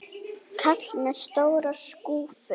Kall með stóra skúffu.